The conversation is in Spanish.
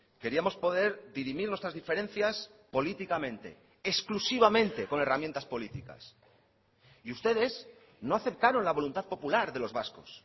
queríamos poder dirimir nuestras diferencias políticamente exclusivamente con herramientas políticas y ustedes no aceptaron la voluntad popular de los vascos